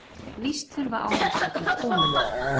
Víst þurfa ávextirnir konung.